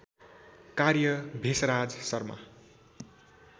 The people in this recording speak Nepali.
कार्य भेषराज शर्मा